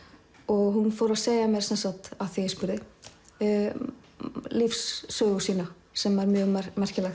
hún fór að segja mér af því ég spurði lífssögu sína sem var mjög merkileg